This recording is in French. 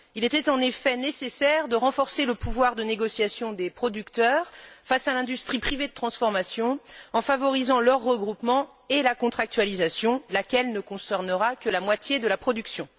Il était en effet nécessaire de renforcer le pouvoir de négociation des producteurs face à l'industrie privée de transformation, en favorisant leur regroupement et la contractualisation, laquelle ne concernera que la moitié de la production.